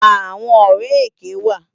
Awòn òrè éké wá